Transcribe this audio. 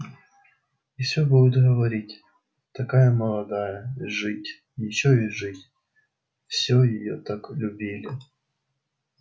и все будут говорить такая молодая жить ещё и жить всё её так любили